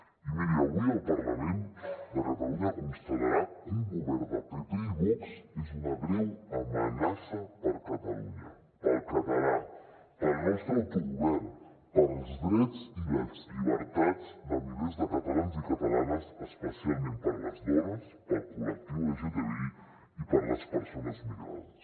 i miri avui el parlament de catalunya constatarà que un govern de pp i vox és una greu amenaça per catalunya pel català pel nostre autogovern pels drets i les llibertats de milers de catalans i catalanes especialment per les dones pel col·lectiu lgtbi i per les persones migrades